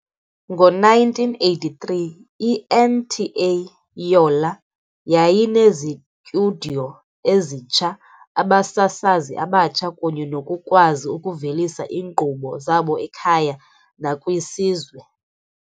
Ngo-1983, i-NTA Yola yayinezitudiyo ezitsha, abasasazi abatsha kunye nokukwazi ukuvelisa iinkqubo zabo ekhaya nakwisizwe.